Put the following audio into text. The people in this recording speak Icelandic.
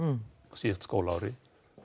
á síðsta skólaári